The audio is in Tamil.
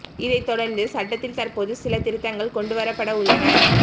இதைத் தொடர்ந்து சட்டத்தில் தற்போது சில திருத்தங்கள் கொண்டுவரப்பட உள்ளன